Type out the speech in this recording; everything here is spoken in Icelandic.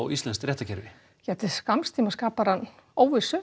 íslenskt réttarkerfi til skamms tíma skapar hanna óvissu